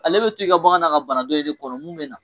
Ale bɛ to i ka bagan na ka bana dɔ in de kɔnɔ mun bɛ na.